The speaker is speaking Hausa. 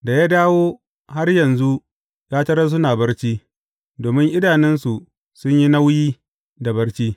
Da ya dawo, har yanzu ya tarar suna barci, domin idanunsu sun yi nauyi da barci.